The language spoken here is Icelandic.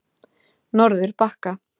Norðurbakka